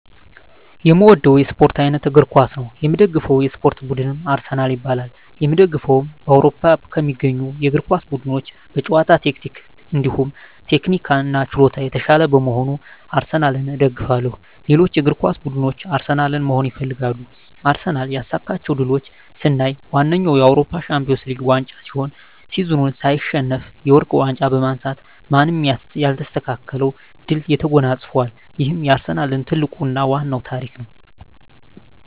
የእምወደዉ የእስፖርት አይነት እግር ኳስ ነዉ። የምደግፈዉ የእስፖርት ቡድንም አርሰናል ይባላል። የእምደግፈዉም በአዉሮፖ ከሚገኙ የእግር ኳስ ቡድኖች በጨዋታ ታክቲክ እንዲሁም ቴክኒክና ችሎታ የታሻለ በመሆኑ አርሰናልን እደግፋለሁ። ሌሎች እግር ኳስ ብድኖች አርሰናልን መሆን ይፈልጋሉ። አርሰናል ያሳካቸዉ ድሎች ስናይ ዋነኛዉ የአዉሮፖ ሻንፒወንስ ሊግ ዋንጫ ሲሆን ሲዝኑን ሳይሸነፍ የወርቅ ዋንጫ በማንሳት ማንም የማይስተካከለዉን ድል ተጎናፅፋል ይሄም የአርሰናል ትልቁና ዋናዉ ታሪክ ነዉ።